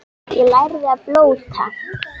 Ég lærði að blóta.